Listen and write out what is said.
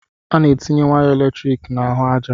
Ana etinye waya eletrik n'ahụ aja.